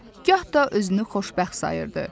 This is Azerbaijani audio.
gah da özünü xoşbəxt sayırdı.